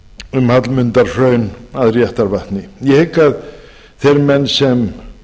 um hallmundarhraun að réttarvatni ég hygg að þeir menn sem